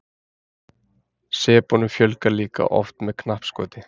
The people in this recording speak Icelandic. sepunum fjölgar líka oft með knappskoti